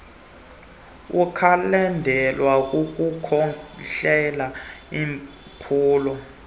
ukwalandelwa kukukhohlela iimpumlo